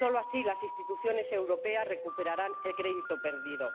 Solo así las instituciones europeas recuperarán el crédito perdido.